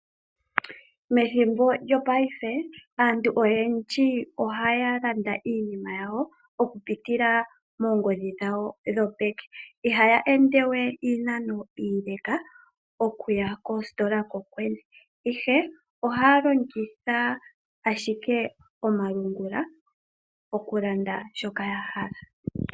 Methimbo lyopaife, aantu oyendji ohaya landa iinima yawo mokupitila moongodhi dhawo dhopeke. Ihaya ende we iinano iileleka okuya koositola kokwene, ihe ohaya longitha ashike omalungula okulanda shoka ya hala.